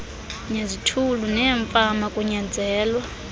nezithulu neemfama kunyanzelwa